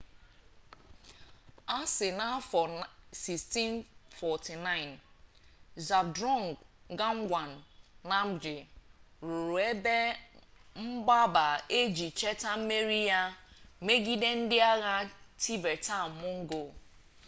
a sị na n'afọ 1649 zhabdrung ngawang namgyel rụrụ ebe mgbaba a iji cheta mmeri ya megide ndị agha tibetan-mongol